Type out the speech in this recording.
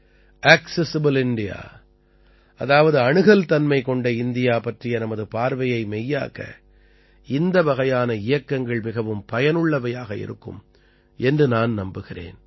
accessible India அதாவது அணுகல்தன்மை கொண்ட இந்தியா பற்றிய நமது பார்வையை மெய்யாக்க இந்த வகையான இயக்கங்கள் மிகவும் பயனுள்ளவையாக இருக்கும் என்று நான் நம்புகிறேன்